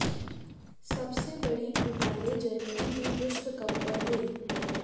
सबसे बड़ी घोटाले जर्मनी में विश्व कप पर हुई